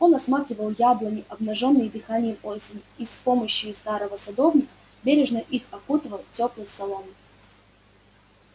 он осматривал яблони обнажённые дыханием осени и с помощью старого садовника бережно их укутывал тёплой соломой